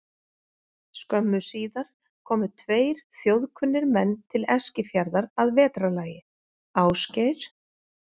Skömmu síðar komu tveir þjóðkunnir menn til Eskifjarðar að vetrarlagi, Ásgeir